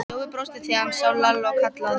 Jói brosti þegar hann sá Lalla og kallaði